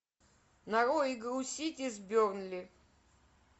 нарой игру сити с бернли